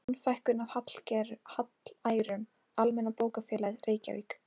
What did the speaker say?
Mannfækkun af hallærum, Almenna bókafélagið, Reykjavík